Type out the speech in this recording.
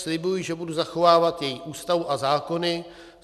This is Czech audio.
Slibuji, že budu zachovávat její Ústavu a zákony.